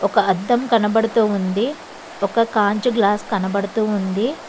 ఒక అద్దం కనబడుతూ ఉంది ఒక కాంచు గ్లాస్ కనబడుతూ ఉంది.